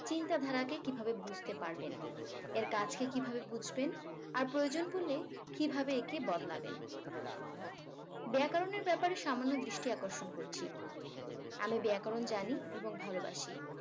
চিন্তাধারাকে কিভাবে বুঝতে পারবেন এর কাজকে কিভাবে বুঝবেন আর প্রয়োজন পড়লে কিভাবে একে বদলাবেন ব্যাকরণের ব্যাপারে সামান্য দৃষ্টি আকর্ষণ করছি আমি ব্যাকরণ জানি এবং ভালোবাসি